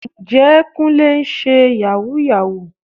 Ǹjẹ́ Kúnlé ń ṣe Yàhooyahoo?